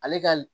Ale ka